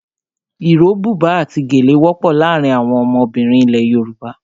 Iro, buba àti gèlè wọ́pọ̀ láàárín àwọn ọmọbìnrin ilẹ̀ Yorùbá.